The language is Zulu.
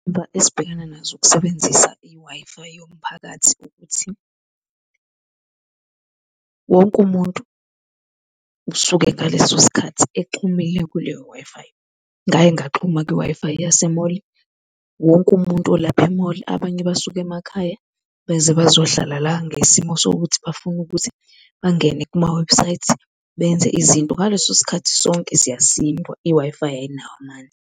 Izingqinamba esibhekena nazo ukusebenzisa i-Wi-Fi yomphakathi ukuthi wonke umuntu usuke ngaleso sikhathi exhumile kuleyo Wi-Fi. Ngake ngaxhuma kwi-Wi-Fi yase-mall, wonke umuntu olapha e-mall, abanye basuke emakhaya beze bazohlala la ngesimo sokuthi bafuna ukuthi bangene kuma-website benze izinto. Ngaleso sikhathi sonke siyasindwa, i-Wi-Fi ayinawo amandla.